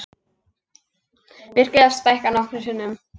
Virkið var stækkað nokkrum sinnum.